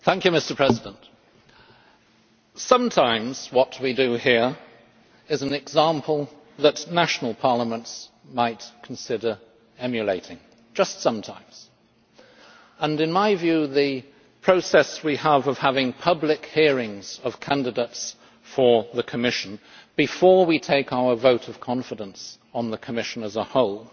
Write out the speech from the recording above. Mr President, sometimes what we do here is an example that national parliaments might consider emulating just sometimes and, in my view, the process we have of holding public hearings of candidates for the Commission, before we take our vote of confidence on the Commission as a whole,